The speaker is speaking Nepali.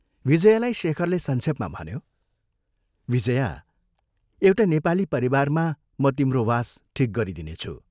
विजयालाई शेखरले संक्षेपमा भन्यो, "विजया, एउटा नेपाली परिवारमा म तिम्रो वास ठीक गरिदिनेछु।